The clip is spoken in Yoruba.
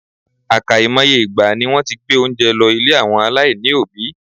Àkàìmoye ìgbà ni wọ́n ti gbé oúnjẹ lọ ilé àwọn aláìní òbí.